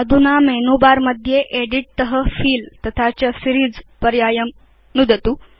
अधुना menu bar मध्ये edit तत फिल तथा च सीरीज़ पर्यायं नुदतु